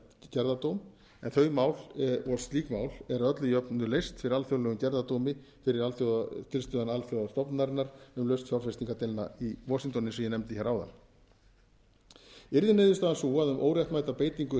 gerðardóm en slík mál eru að öllu jöfnu leyst fyrir alþjóðlegum gerðardómi fyrir tilstuðlan alþjóðastofnunarinnar um lausn fjárfestingardeilna í washington eins og ég nefndi hér áðan yrði niðurstaðan sú að um óréttmæta beitingu